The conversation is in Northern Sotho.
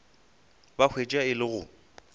ba hwetša e le go